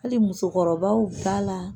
Hali musokɔrɔbaw b'a la